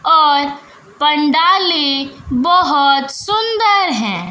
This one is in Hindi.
और पंडालें बहोत सुंदर है।